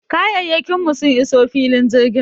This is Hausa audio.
Kayayyakin mu sun iso filin jirgin.